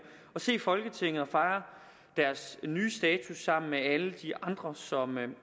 og se folketinget og fejre deres nye status sammen med alle de andre som